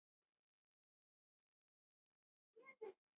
Við líka sagði Tóti lágt.